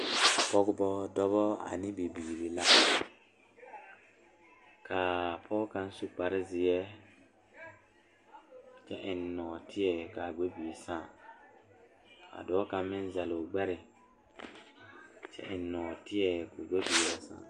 Noba bayoɔbo naŋ are tabol zu bayi meŋ zeŋ la dakogi zu ka bayi meŋ are ka kaŋa su kpare naŋ waa pelaa.